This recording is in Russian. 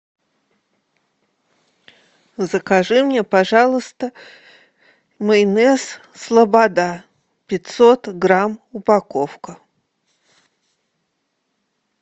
закажи мне пожалуйста майонез слобода пятьсот грамм упаковка